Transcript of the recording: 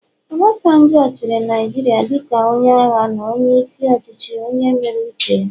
Obasanjo chịrị Naijiria dịka onye agha na onye isi ọchịchị onye mere uche ya